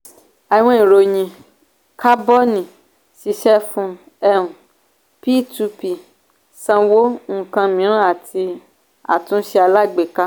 àwọn ìròyìn cábọ̀nì ṣiṣẹ fún um p two p sanwó ǹkan mìíràn àti àtúnṣe alágbèéká